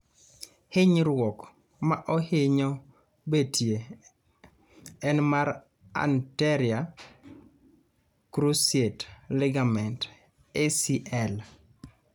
hinyruok ma ohinyo betie en mar anterior cruciate ligament ACL